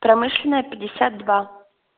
промышленная пятьдесят два